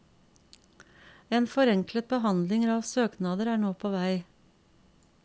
En forenklet behandling av søknader er nå på vei.